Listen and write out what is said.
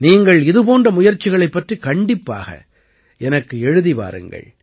நீங்கள் இது போன்ற முயற்சிகளைப் பற்றிக் கண்டிப்பாக எனக்கு எழுதி வாருங்கள்